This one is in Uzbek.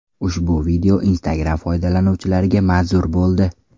Ushbu video Instagram foydalanuvchilariga manzur bo‘ldi.